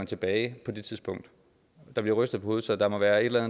tilbage der bliver rystet på hovedet så der må være et eller